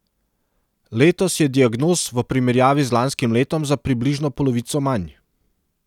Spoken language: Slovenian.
Letos je diagnoz v primerjavi z lanskim letom za približno polovico manj.